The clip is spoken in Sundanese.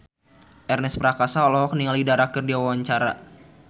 Ernest Prakasa olohok ningali Dara keur diwawancara